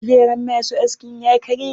Kujeran masu askin ya karye.